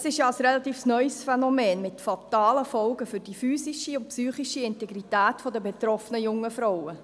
Es ist ein relativ neues Phänomen mit fatalen Folgen für die physische und psychische Integrität der betroffenen jungen Frauen.